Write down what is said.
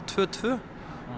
tvö tvö